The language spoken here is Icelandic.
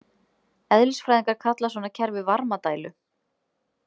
Eðlisfræðingar kalla svona kerfi varmadælu.